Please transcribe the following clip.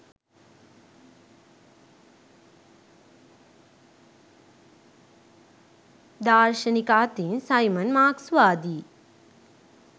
දාර්ශනික අතින් සයිමන් මාක්ස්වාදීයි